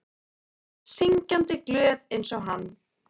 Hún er syngjandi glöð einsog hann.